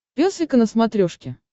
пес и ко на смотрешке